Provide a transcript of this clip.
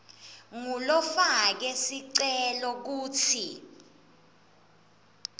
ngulofake sicelo kutsi